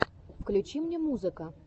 включи мне музыка